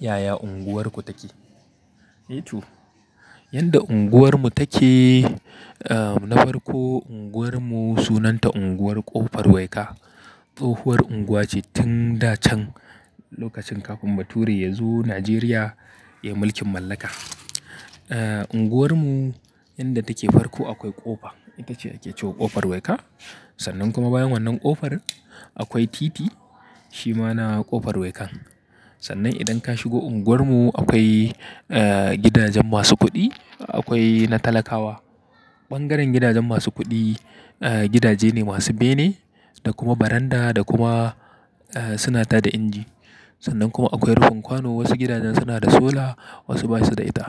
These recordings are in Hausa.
Yaya unguwarku take? Yanda unguwarmu take, eh na farko unguwarmu sunanta unguwar Ƙofar Waika. Tsohuwar unguwa ce tun da can lokacin kafin bature ya zo Najeriya ya yi mulkin mallaka. Eh unguwarmu yanda take farko akwai ƙofa, ita ce ake cewa Ƙofar Waika. Sannan kuma bayan wannan ƙofar akwai titi, shi ma na Ƙofar Wankan. Sannan idan ka shigo unguwarmu akwai gidajen masu kuɗi, akwai na talakawa. Ɓangaren gidajen masu kuɗi gidaje ne masu bene da kuma baranda da kuma suna ta da inji. Sannan kuma akwai rufin kwano. Wasu gidajen suna da sola, wasu ba su da ita.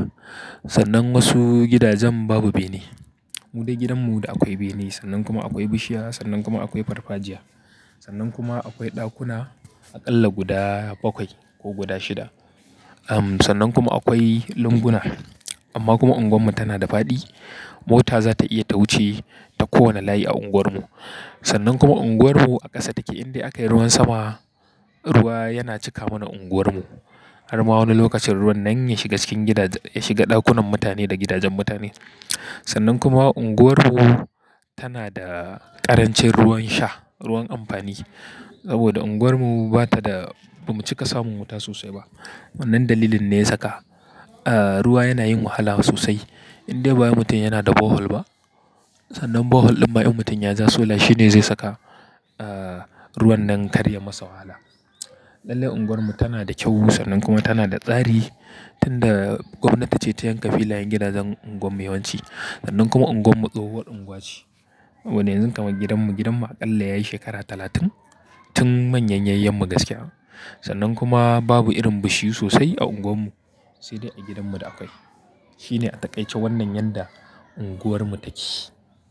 Sannan wasu gidajen babu bene. Mu dai gidanmu da akwai bene sannan kuma akwai bishiya sannan kuma akwai farfajiya. Sannan kuma akwai ɗakuna aƙalla guda bakwai ko guda shida. Ahm sannan kuma akwai lunguna. Amma kuma unguwarmu tana da faɗi. Mota za ta iya ta wuce ta kowane layi a unguwarmu. Sannan kuma unguwarmu a ƙasa take inda aka yi ruwan sama, ruwa yana cika mana unguwarmu. Har ma wani lokacin ruwan nan ya shiga cikin gidaje, ya shiga ɗakunan mutane da gidajen mutane. Sannan kuma unguwarmu tana da ƙarancin ruwan sha, ruwan amfani. Saboda unguwarmu ba ta da, ba mu cika samu wuta sosai ba. Wannan dalilin ne ya saka ah ruwa yana yin wahala sosai. Indai bawai mutum yana da bohol ba, sannan bohol ɗin ma in mutum yaja sola shi ne zai saka ah ruwan nan karya masa wahala. Lallai unguwarmu tana da kyau sosai kuma tana da tsari tun da gwamnati ce ta yanka filayen gidajen unguwar mu yawanci. Sannan kuma unguwar mu tsohuwar unguwa ce. Saboda yanzu kamar gidanmu, gidanmu aƙalla yayi shekara talatin tun manyan yayyan mu gaskiya. Sannan kuma babu irin bishiyu sosai a unguwarmu sai dai a gidanmu da akwai. Shi ne a taƙaice wannan yanda unguwarmu take.